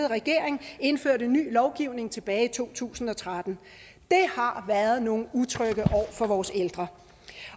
regering indførte ny lovgivning tilbage i to tusind og tretten det har været nogle utrygge år for vores ældre